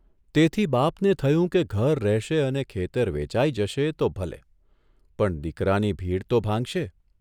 તેથી બાપને થયું કે ઘર રહેશે અને ખેતર વેચાઇ જશે તો ભલે, પણ દીકરાની ભીડ તો ભાંગશે !